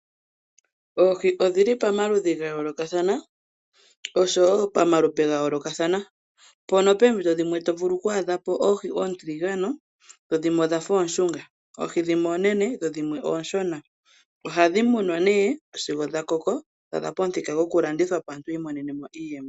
Oohi odhili pamaludhi ga yoolokathana oshowo pamalupe ga yoolokathana mpono poompito dhimwe to vulu okwaadhapo oohi dhimwe oontiligane dho dhimwe odhafa ooshunga. Oohi dhimwe oonene dho dhimwe ooshona, ohadhi munwa nee sigo dha koko dhaadha pamuthika goku landithwapo aantu yiimonenemo iiyemo.